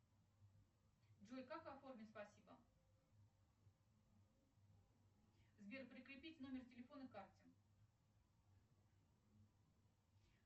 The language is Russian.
джой как оформить спасибо сбер прикрепить номер телефона к карте